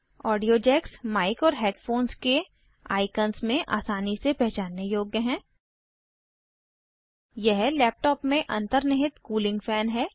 audio jacks mic और headphones के icon में आसानी से पहचानने योग्य हैं यह लैपटॉप में अंतनिर्हित कूलिंग फैन है